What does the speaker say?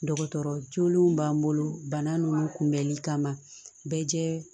Dɔgɔtɔrɔ joolenw b'an bolo bana nunnu kunbɛnli kama bɛɛ